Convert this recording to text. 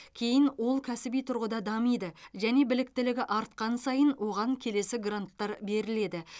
кейін ол кәсіби тұрғыда дамиды және біліктілігі артқан сайын оған келесі гранттар беріледі